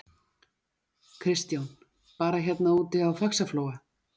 Kristján: Bara hérna úti í Faxaflóa?